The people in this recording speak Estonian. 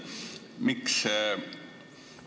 Miks?